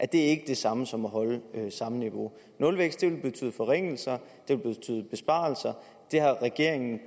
det er ikke det samme som at holde samme niveau nulvækst vil betyde forringelser det vil betyde besparelser da regeringen